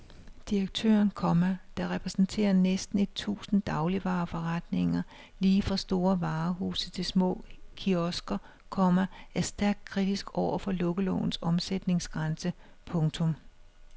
Direktøren, komma der repræsenterer næsten et tusind dagligvareforretninger lige fra store varehuse til små kiosker, komma er stærkt kritisk over for lukkelovens omsætningsgrænse. punktum